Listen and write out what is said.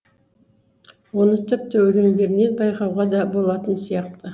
оны тіпті өлеңдерінен байқауға да болатын сияқты